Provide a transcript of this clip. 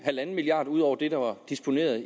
en milliard kroner ud over det der var disponeret